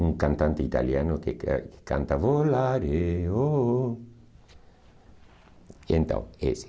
Um cantante italiano que eh canta... E então, esse.